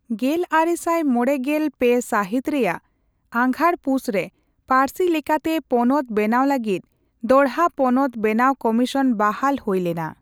ᱜᱮᱞᱟᱨᱮᱥᱟᱭ ᱢᱚᱲᱮᱜᱮᱞ ᱯᱮ ᱥᱟᱹᱦᱤᱛ ᱨᱮᱭᱟᱜ ᱟᱜᱷᱟᱲᱼᱯᱩᱥ ᱨᱮ, ᱯᱟᱹᱨᱥᱤ ᱞᱮᱠᱟᱛᱮ ᱯᱚᱱᱚᱛ ᱵᱮᱱᱟᱣ ᱞᱟᱹᱜᱤᱫ ᱫᱚᱲᱦᱟ ᱯᱚᱱᱚᱛ ᱵᱮᱱᱟᱣ ᱠᱚᱢᱤᱥᱚᱱ ᱵᱟᱦᱟᱞ ᱦᱳᱭᱞᱮᱱᱟ ᱾